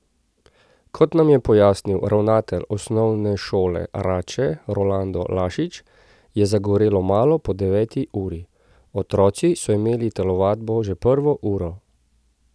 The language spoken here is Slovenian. Kot nam je pojasnil ravnatelj Osnovne šole Rače Rolando Lašič, je zagorelo malo po deveti uri: "Otroci so imeli telovadbo že prvo uro.